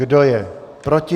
Kdo je proti?